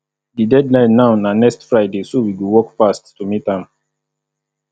di deadline now na next friday so we go work fast to meet am